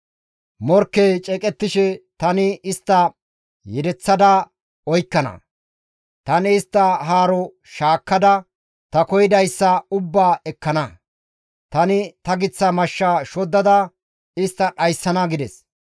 «Morkkey ceeqettishe, ‹Tani istta yedeththa oykkana. Tani istta haaro shaakkada, ta koyidayssa ubbaa ekkana. Tani ta giththa mashsha shoddada, istta dhayssana› gides.